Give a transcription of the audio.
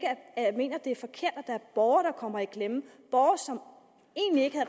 mener at det er forkert at borgere der kommer i klemme borgere som egentlig ikke